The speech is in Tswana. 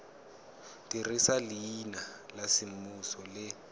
dirisa leina la semmuso le